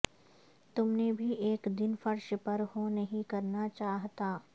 تم نے بھی ایک دن فرش پر ہو نہیں کرنا چاہتا